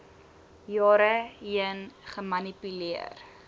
jare heen gemanipuleer